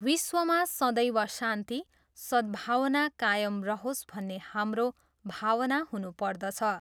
विश्वमा सदैव शान्ति, सद्भावना कायम रहोस् भन्ने हाम्रो भावना हुनुपर्दछ।